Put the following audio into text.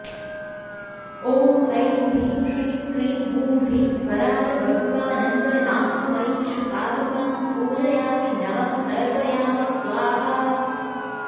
ॐ ऐं ह्रीं श्रीं क्रीं हूं ह्रीं कराल वटुकानन्दनाथमयी श्रीपादुकां पूजयामि नमः तर्पयामि स्वाहा